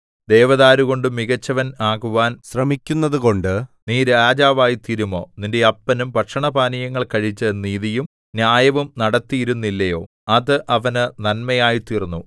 ദേവദാരുകൊണ്ടു മികച്ചവൻ ആകുവാൻ ശ്രമിക്കുന്നതുകൊണ്ട് നീ രാജാവായിത്തീരുമോ നിന്റെ അപ്പനും ഭക്ഷണപാനീയങ്ങൾ കഴിച്ച് നീതിയും ന്യായവും നടത്തിയിരുന്നില്ലയോ അത് അവന് നന്മയായിത്തീർന്നു